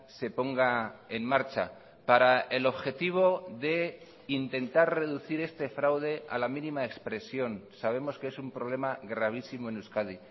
se ponga en marcha para el objetivo de intentar reducir este fraude a la mínima expresión sabemos que es un problema gravísimo en euskadi